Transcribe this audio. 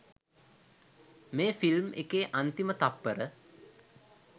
මේ ෆිල්ම් එකේ අන්තිම තත්පර